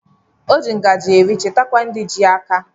O ji ngajị eri chetakwa ndị ji aka